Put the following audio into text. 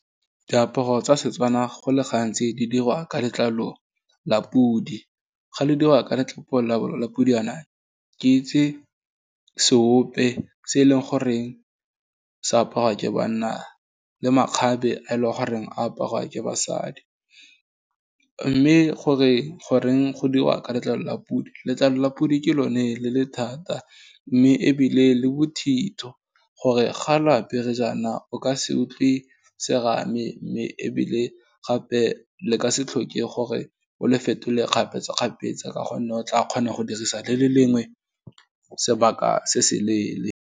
Diaparo tsa Setswana go le gantsi di dirwa ka letlalo la podi, ga lo dirwa ka letlolo la podi yaana, ke itse seope, se e leng goreng se aparwa ke banna, le makgabe a e leng goreng aparwa ke basadi, mme gore goreng go dirwa ka letlalo la podi, letlalo la podi ke lone le le thata, mme ebile le bothitho, gore ga lo apere jaana, o ka se utlwe serame, mme ebile gape le ka se tlhoke gore o le fetole kgapetsakgapetsa, ka gonne o tla kgona go dirisa le le lengwe, sebaka se se leele.